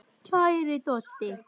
Kæri Doddi.